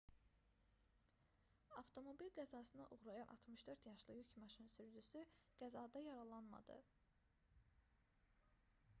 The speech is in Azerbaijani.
avtomobil qəzasına uğrayan 64 yaşlı yük maşını sürücüsü qəzada yaralanmadı